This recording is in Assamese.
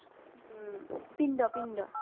ওম পিণ্ড পিণ্ড